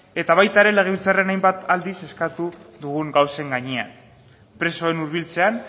eta baita ere legebiltzarrean hainbat aldiz eskatu dugun gauzen gainean presoen hurbiltzean